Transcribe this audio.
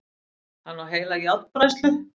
Hann á heila járnbræðslu!